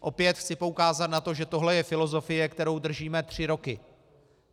Opět chci poukázat na to, že tohle je filozofie, kterou držíme tři roky.